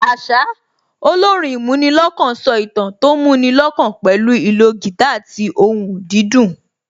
Àṣá, olórin ìmúnilọ́kàn so ìtàn tó mú ni lọ́kàn pẹ̀lú ìlò guitar àti ohùn dídùn